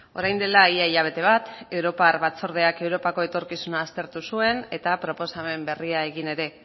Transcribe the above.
orain dela ia hilabete bat europar batzordeak europako etorkizuna aztertu zuen eta proposamen berria egin ere